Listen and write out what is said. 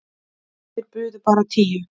Þeir buðu bara tíu.